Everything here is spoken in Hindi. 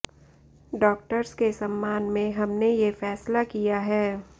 डॉक्टर्स के सम्मान में हमने ये फैसला किया है